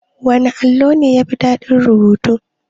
Wana allo ne yafi daɗin rubutu?